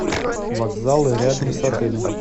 вокзалы рядом с отелем